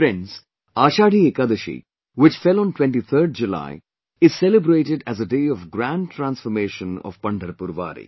Friends, Ashadhi Ekadashi, which fell on 23rd July, is celebrated as a day of grand transformation of Pandharpur Wari